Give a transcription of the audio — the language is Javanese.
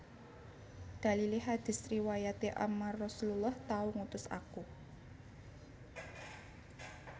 Dalilé hadits riwayaté Ammar Rasullullah tau ngutus aku